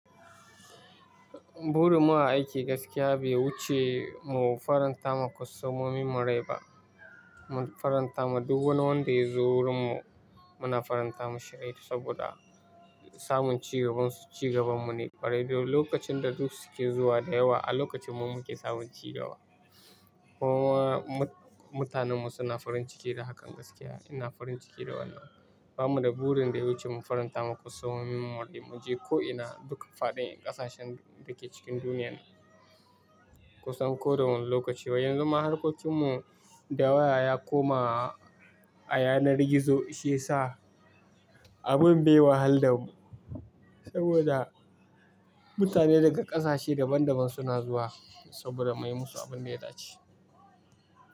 Burin mu a aiki gaskiya bai wuce mu faranta ma kwastomomin mu rai ba. Mun faranta ma duk wani wanda ya zo wurin mu muna faranta ma shirai saboda samun cigaban su cigaban mu ne. Bari lokacin da duk su ke zuwa da yawa a lokacin mu muke samun cigaba. Kuma mu mutanen mu suna farin ciki da hakan gaskiya. Ina farin ciki da wannan. Ba mu da burin da ya wuce mu faranta ma kwastomomin mu rai. Mu je ko'ina duk faɗin ƙasashen da ke cikin duniyan kusan ko da wane lokaci. Wai yan zuma harkokin mu da waya ya koma a yanar gizo shiyasa abin bai wahalar da mu. Saboda mutane daga ƙasashe daban daban suna zuwa saboda muyi musu abin da ya dace.